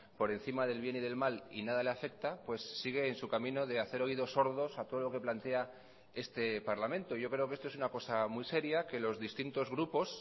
por encima del bien y del mal y nada le afecta pues sigue en su camino de hacer oídos sordos a todo lo que plantea este parlamento yo creo que esto es una cosa muy seria que los distintos grupos